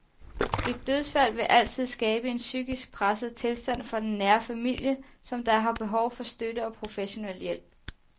Et dødsfald vil altid skabe en psykisk presset tilstand for den nære familie, som da har behov for støtte og professionel hjælp.